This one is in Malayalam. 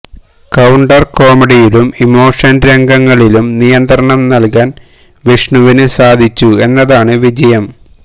കൌണ്ടര് കോമഡിയിലും ഇമോഷന് രംഗങ്ങളിലും നിയന്ത്രണം നല്കാന് വിഷ്ണുവിന് സാധിച്ചു എന്നതാണ് വിജയം